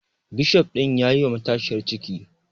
Bishof ɗin yayi wa matashiyar ciki